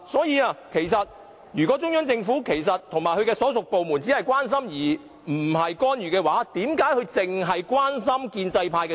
如果中央政府和其所屬部門只是關心，而非干預，為何他們只關心建制派選委？